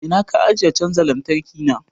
A ina ka ajiye canza lantarki na?